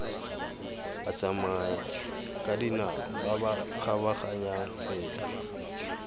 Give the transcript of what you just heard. batsamayakadinao ba ba kgabaganyang tsela